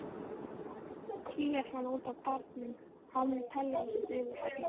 Kríar hann út á barnum án teljandi fyrirhafnar.